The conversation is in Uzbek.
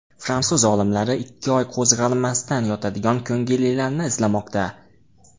Fransuz olimlari ikki oy qo‘zg‘almasdan yotadigan ko‘ngillilarni izlamoqda.